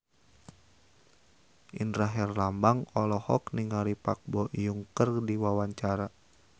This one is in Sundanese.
Indra Herlambang olohok ningali Park Bo Yung keur diwawancara